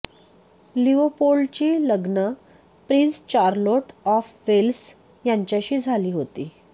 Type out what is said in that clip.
लिओपोल्डची लग्न prince Charlotte of Wales यांच्याशी झाली होती